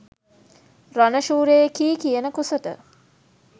රණශූරයෙකියි කියන කුසට